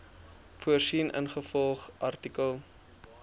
voorsien ingevolge artikel